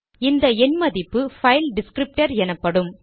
இந்த எண் மதிப்பு பைல் டிஸ்க்ரிப்டர் எனப்படும்